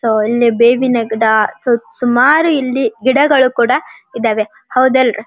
so ಇಲ್ಲಿ ಬೇವಿನ ಗಿಡ ಸುಮಾರು ಇಲ್ಲಿ ಗಿಡಗಳು ಕೂಡ ಇದೆ ಹೌದ ಅಲ್ --